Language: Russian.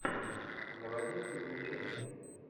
заводи приключения